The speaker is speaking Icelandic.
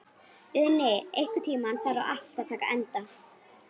Uni, einhvern tímann þarf allt að taka enda.